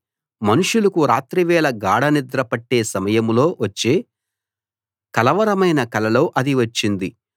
మనుషులకు రాత్రివేళ గాఢనిద్ర పట్టే సమయంలో వచ్చే కలవరమైన కలలో అది వచ్చింది